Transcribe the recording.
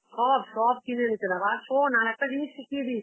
সব সব কিনে এনেছিলাম. আর শোন একটা জিনিস শিখিয়ে দি